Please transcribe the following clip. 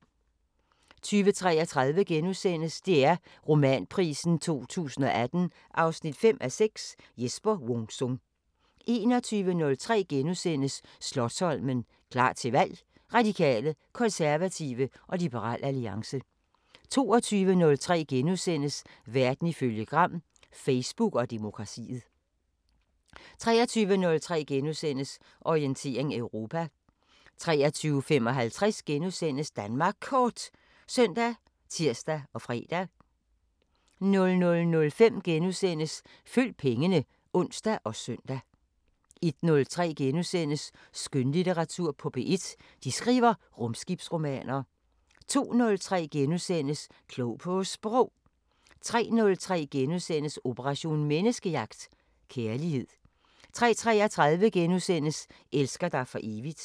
20:33: DR Romanprisen 2018 5:6 – Jesper Wung Sung * 21:03: Slotsholmen – klar til valg: Radikale, konservative og Liberal Alliance * 22:03: Verden ifølge Gram: Facebook og demokratiet * 23:03: Orientering Europa * 23:55: Danmark Kort *( søn, tir, fre) 00:05: Følg pengene *(søn og ons) 01:03: Skønlitteratur på P1: De skriver rumskibsromaner * 02:03: Klog på Sprog * 03:03: Operation Menneskejagt: Kærlighed * 03:33: Elsker dig for evigt *